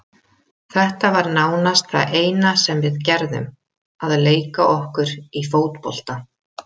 Þetta var nánast það eina sem við gerðum, að leika okkur í fótbolta.